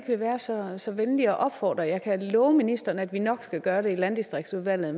vil være så så venlig at opfordre jeg kan love ministeren at vi nok skal gøre det i landdistriktsudvalget